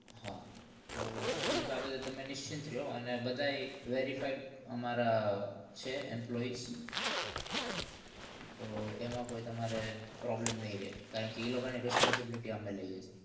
હાતો ઈ બાબતે તને નિશ્ચિત બધા verify અમારા છે employees તો એમાં તમારે problem નહિ રે